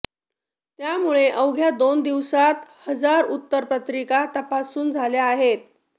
त्यामुळे अवघ्या दोन दिवसांत हजार उत्तरपत्रिका तपासून झाल्या आहेत